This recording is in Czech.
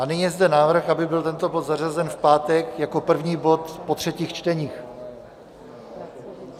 A nyní je zde návrh, aby byl tento bod zařazen v pátek jako první bod po třetích čteních.